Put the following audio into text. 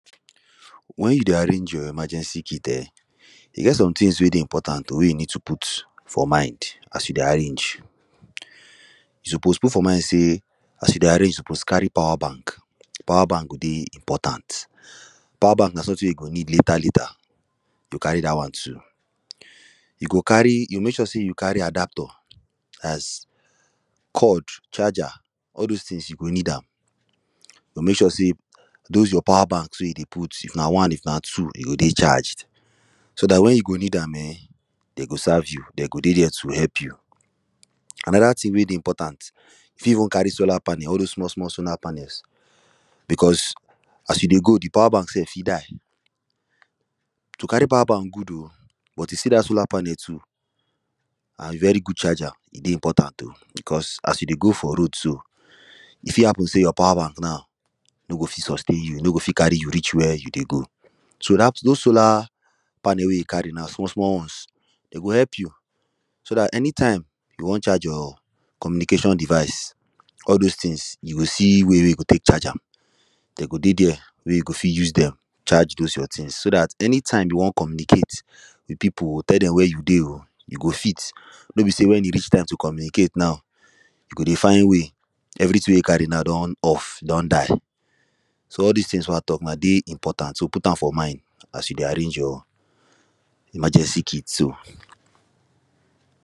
When you dey arrange your emergency kit um, e get some things wey dey important o wey you need to put for mind as you dey arrange. You suppose put for mind say, as you dey arrange, you suppose carry powerbank. Powerbank go dey important. Powerbank na something you go need later, later, u go carry dat one too. You go carry, you mek sure say you carry adaptor as cord, charger, all those things, you go need am. You go mek sure say those your powerbanks wey you dey put, if na one, if na two, e go dey charged. So dat when you go need am um, them go serve you, them go dey there to help you Another thing wey dey important you fit carry even solar panel, all those small small solar panels because as you dey go, the powerbank sef fit die. To carry powerbank good o, but you see dat solar panel too, um very good charger, e dey important o, because as you dey go for road so, e fit happen say you powerbank now no go fit sustain you, no go fit carry you reach wey you dey go. So, dat.. those solar panel wey you carry now, small small ones, them go help you. So dat anytime you wan charge your communication device, all those things, you go see where you go tek charge am. they go dey there, wey you go fit use them charge those your things, so dat anytime you wan communicate with people tell them where you dey o, you go fit. No be say when e reach time to communicate now you go dey find way. Everything wey you carry now don off, don die. So, all these things wey I talk now dey important, so put am for mind, as you dey arrange your emergency kit so.